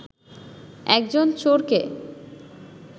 একজন চোরকে